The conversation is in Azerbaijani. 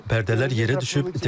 Pərdələr yerə düşüb.